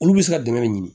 Olu bɛ se ka dɛmɛ de ɲini